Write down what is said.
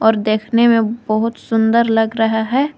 और देखने में बहुत सुंदर लग रहा है।